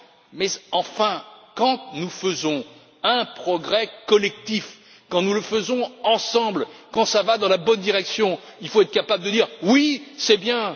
Mais, enfin, quand nous faisons un progrès collectif, quand nous le faisons ensemble, quand cela va dans la bonne direction, il faut être capable de dire Oui, c'est bien!,